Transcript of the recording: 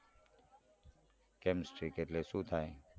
કેમ strick એટલે સુ થાય.